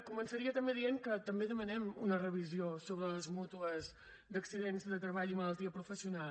començaria també dient que també demanem una revisió sobre les mútues d’accidents de treball i malaltia professional